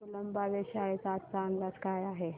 कुलाबा वेधशाळेचा आजचा अंदाज काय आहे